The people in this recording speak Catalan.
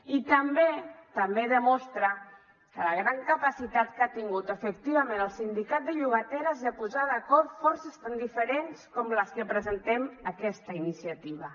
i també també demostra que la gran capacitat que ha tingut efectivament el sindicat de llogateres és a posar d’acord forces tan diferents com les que presentem aquesta iniciativa